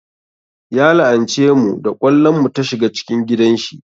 Ya la'ance mu da ƙwallon mu ta shiga cikin gidan shi